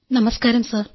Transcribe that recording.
നമസ്കാരം സർ